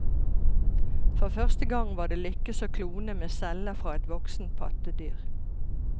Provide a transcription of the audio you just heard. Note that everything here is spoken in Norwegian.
For første gang var det lykkes å klone med celler fra et voksent pattedyr.